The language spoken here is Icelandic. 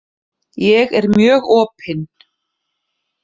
Ég er mjög opin.